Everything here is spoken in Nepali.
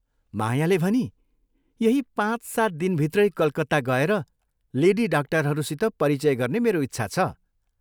मायाले भनी, "यही पाँच सात दिनभित्रै कलकत्ता गएर लेडी डाक्टरहरूसित परिचय गर्ने मेरो इच्छा छ।